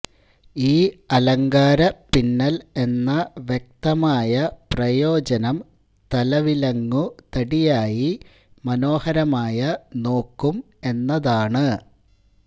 ഈ അലങ്കാരപ്പിന്നല് എന്ന വ്യക്തമായ പ്രയോജനം തല വിലങ്ങുതടിയായി മനോഹരമായ നോക്കും എന്നതാണ്